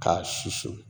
K'a susu